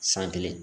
San kelen